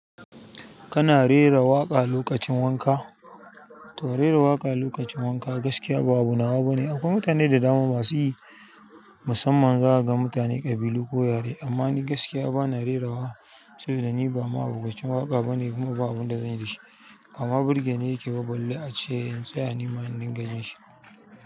Kana rera waƙa lokacin wanka? To rera waƙa lokacin wanka gaskiya ba abu nawa bane. Akwai mutane da dama basu yi, musamman za ka ga mutane ƙabilu ko yare. Amma ni gaskiya bana rerawa sabida ni ba ma abokacin waƙa bane kuma ba abun da zan yi da shi. Bama birge ne yake ba ball ace in tsaya nima na dinga jin shi.